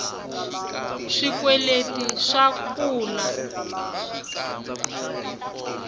swikweleti swa kula